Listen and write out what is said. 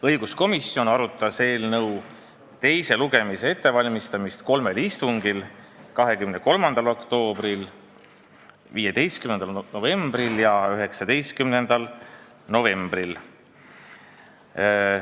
Õiguskomisjon arutas eelnõu teise lugemise ettevalmistamist kolmel istungil: 23. oktoobril, 15. novembril ja 19. novembril.